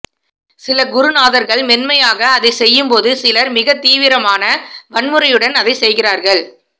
சில குருநாதர்கள் மென்மையாக அதைச் செய்யும்போது சிலர் மிகத்தீவிரமான வன்முறையுடன் அதைச் செய்கிறார்கள்